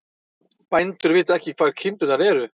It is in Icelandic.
Bændur vita ekki hvar kindurnar eru